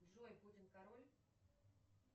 джой путин король